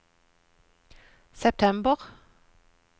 september